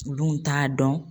U dun t'a dɔn.